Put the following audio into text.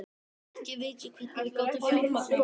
Ekki veit ég hvernig við gátum fjármagnað það.